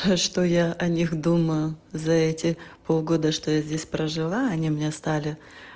а что я о них думаю за эти полгода что я здесь прожила они мне стали